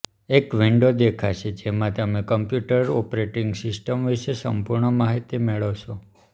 એક વિંડો દેખાશે જેમાં તમે કમ્પ્યુટરની ઑપરેટિંગ સિસ્ટમ વિશે સંપૂર્ણ માહિતી મેળવશો